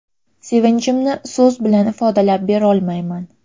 Sevinchimni so‘z bilan ifodalab berolmayman.